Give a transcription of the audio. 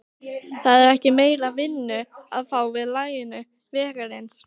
Það er ekki meiri vinnu að fá við lagningu vegarins.